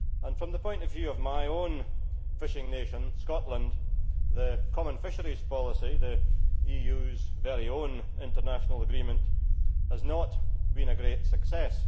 From the point of view of my own fishing nation, Scotland, the common fisheries policy, the EU's very own international agreement, has not been a great success.